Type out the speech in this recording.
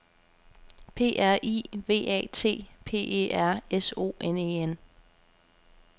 P R I V A T P E R S O N E N